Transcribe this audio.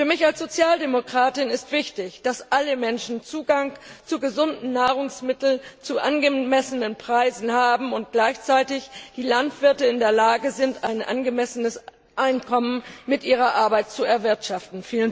Für mich als Sozialdemokratin ist wichtig, dass alle Menschen Zugang zu gesunden Nahrungsmitteln zu angemessenen Preisen haben und gleichzeitig die Landwirte in der Lage sind, ein angemessenes Einkommen mit ihrer Arbeit zu erwirtschaften.